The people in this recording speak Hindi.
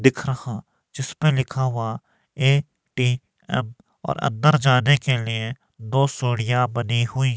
दिख रहा जिस पे लिखा हुआ ए_टी_एम और अंदर जाने के लिए दो सीढ़ियां बनी हुई--